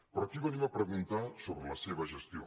però aquí venim a preguntar sobre la seva gestió